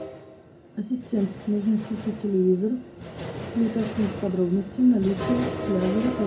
ассистент нужно включить телевизор и уточнить подробности наличия пляжа в отеле